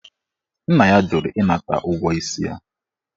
Nna ya jụrụ ịnata ụgwọ isi ya.